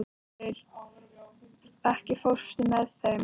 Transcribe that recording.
Apríl, ekki fórstu með þeim?